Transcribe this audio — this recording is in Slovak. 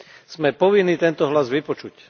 Sme povinní tento hlas vypočuť.